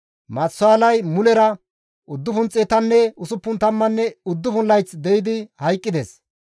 Maatusaalay mulera 969 layth de7idi hayqqides.